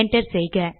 enter செய்க